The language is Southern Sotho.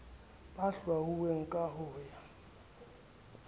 ba hlwauweng ka ho ya